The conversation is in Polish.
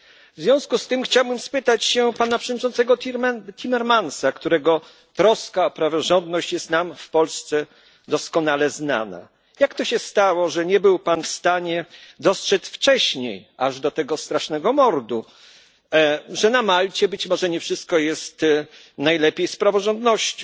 W związku z tym chciałbym zapytać pana przewodniczącego Timmermansa, którego troska o praworządność jest nam w Polsce doskonale znana, jak to się stało, że nie był pan w stanie dostrzec wcześniej, aż do tego strasznego mordu, że na Malcie być może nie jest najlepiej z praworządnością?